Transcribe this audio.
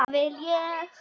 Hvað vil ég?